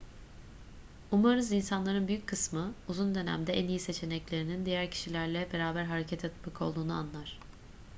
umarız insanların büyük kısmı uzun dönemde en iyi seçeneklerinin diğer kişilerle beraber hareket etmek olduğunu anlar